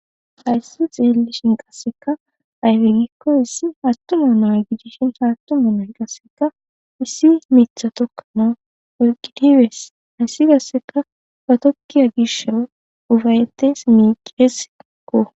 Hayisi xelishin qasika ayibe giko issi atuma na,a gidishin ha atuma na,ayi qasika issi mitha tokanaw ekidi bees hesi qaseka ba tokiya gishaw ufayites mice,sko